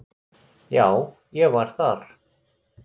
Já, ég var þar.